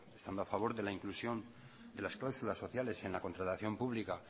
estando a favor de la inclusión de las cláusulas sociales en la contratación pública